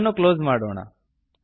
ಇದನ್ನು ಕ್ಲೊಸ್ ಮಾಡೋಣ